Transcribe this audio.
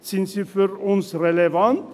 Sind sie für uns relevant?